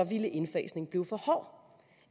ville indfasningen blive for hård